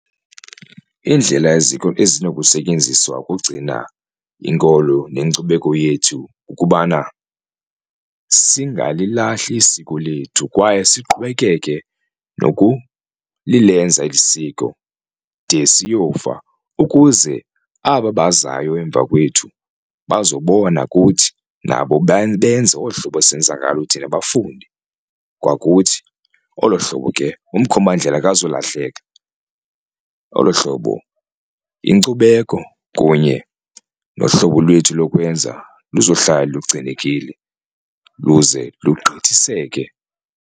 Indlela ezinokusetyenziswa ukugcina inkolo nenkcubeko yethu kukubana singalilahli isiko lethu kwaye siqhubekeke nokulilenza eli siko de siyofa, ukuze aba bazayo emva kwethu bazobona kuthi nabo benze olu hlobo senza ngalo thina bafunde kwakuthi. Olo hlobo ke umkhombandlela akazulahleka olo hlobo inkcubeko kunye nohlobo lwethu lokwenza luzohlala lugcinekile luze lugqithiseke.